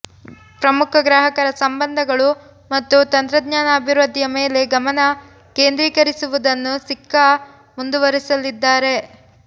ಪ್ರಮುಖ ಗ್ರಾಹಕರ ಸಂಬಂಧಗಳು ಮತ್ತು ತಂತ್ರಜ್ಞಾನ ಅಭಿವೃದ್ಧಿಯ ಮೇಲೆ ಗಮನ ಕೇಂದ್ರೀಕರಿಸುವುದನ್ನು ಸಿಕ್ಕಾ ಮುಂದುವರೆಸಲಿದ್ದಾರೆ